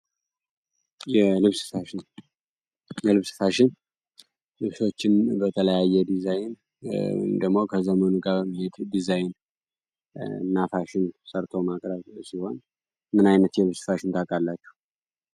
የልብስ ፋሽን ልብሶችን በተለያየ ዲዛይን እንደሞ ከዘመኑ ጋር ምሄድ ዲዛይን ናፋሽን ሰርቶ ማክረብ ሲሆን ምናይነት የልብስሳሽን ታቃላችሁ?